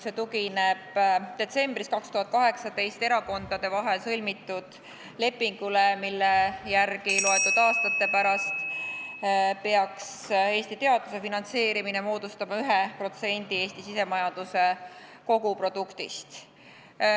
See tugineb detsembris 2018 erakondade vahel sõlmitud lepingule, mille järgi loetud aastate pärast peaks Eesti teaduse finantseerimine moodustama 1% Eesti sisemajanduse koguproduktist.